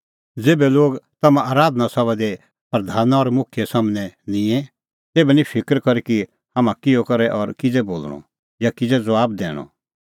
ज़ेभै लोग तम्हां आराधना सभा दी प्रधाना और मुखियै सम्हनै निंए तेभै निं फिकर करी कि हाम्हां किहअ करै और किज़ै बोल़णअ या किज़ै ज़बाब दैणअ